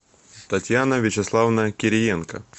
татьяна вячеславовна кириенко